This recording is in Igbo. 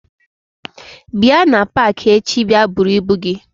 bia na paaki echi bia bụrụ ibu gi.